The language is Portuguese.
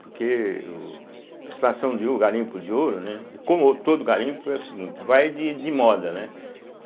Porque o a instalação de, o garimpo de ouro, né, e como todo garimpo é o seguinte, vai de de moda né.